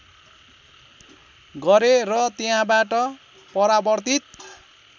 गरे र त्यहाँबाट परावर्तित